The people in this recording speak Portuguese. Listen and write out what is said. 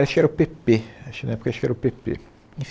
Acho que era o pê pê, acho que na época acho que era o pê pê. Enfim